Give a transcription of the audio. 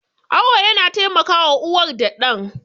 Awo yana taimakawa uwar da ɗan.